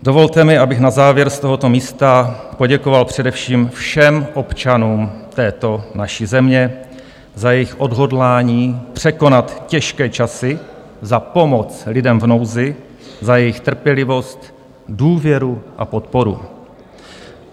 Dovolte mi, abych na závěr z tohoto místa poděkoval především všem občanům této naší země za jejich odhodlání překonat těžké časy, za pomoc lidem v nouzi, za jejich trpělivost, důvěru a podporu.